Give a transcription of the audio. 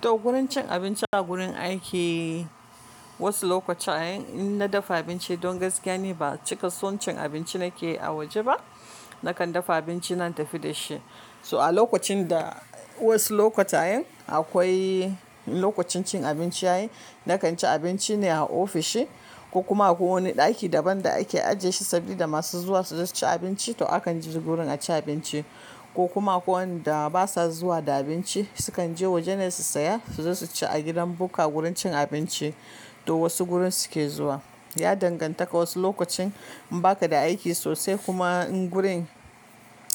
To gurin cin abinci a gurin aiki. Wasu lokuta in na dafa abinci don gaskiya ni, ba cika son cin abinci na ke a waje ba. Nakan dafa abinci na tafi da shi. So a lokacin da wasu lokutayen akwai lokacin cin abinci ya yi, na kan ci abinci ne a ofishi ko kuma akwai wani ɗaki daban da ake ajiye shi saboda masu zuwa su zo su ci abinci, to akan je gurin a ci abinci ko kuma ko wanda ba sa zuwa da abinci su kan je waje ne su saya su zo su ci a gidan bukka, gurin cin abinci to wasu gurin su ke zuwa. Ya danganta ka wasu lokacin in ba ka da aiki sosai kuma in gurin